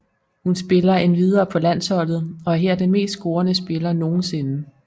Hun spiller endvidere på landsholdet og er her den mest scorende spiller nogensinde